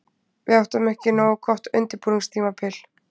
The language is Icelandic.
Við áttum ekki nógu gott undirbúningstímabil.